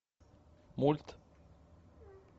мульт